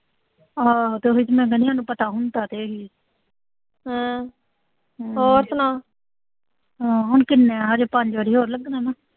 ਹੋਰ ਤਾਂਹੀ ਤਾਂ ਮੈਂ ਕਹਿਣੀ ਆਂ, ਮੈਨੂੰ ਪਤਾ ਹੁੰਦਾ ਤੇ ਹਮ ਕਿੰਨੇ ਆ ਹਜੇ ਪੰਜ ਵਾਰੀ ਹੋਰ ਲੱਗਣ ਗੀਆਂ।